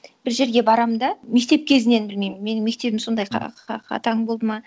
бір жерге барамын да мектеп кезінен білмеймін менің мектебім сондай қатаң болды ма